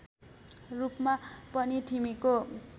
रूपमा पनि ठिमीको